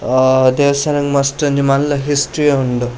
ಆ ದೇವಸ್ಥಾನದ ಮಸ್ತ್ ಒಂಜಿ ಮಲ್ಲ ಹಿಸ್ಟ್ರಿ ಯೇ ಉಂಡು.